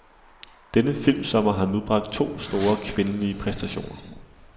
Denne filmsommer har nu bragt to store, kvindelige præstationer.